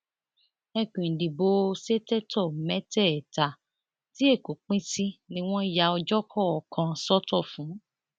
ẹkùn ìdìbò ṣètẹtò mẹtẹẹta tí èkó pín sí ni wọn ya ọjọ kọọkan sọtọ fún